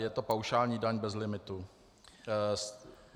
Je to paušální daň bez limitu.